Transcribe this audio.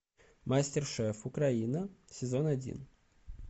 мастер шеф украина сезон один